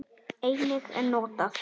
Einnig er notað